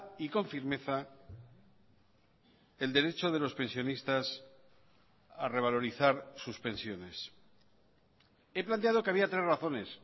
y con firmeza el derecho de los pensionistas a revalorizar sus pensiones he planteado que había tres razones